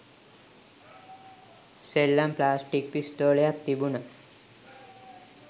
සෙල්ලම් ප්ලාස්ටික් පිස්තෝලයක් තිබුනා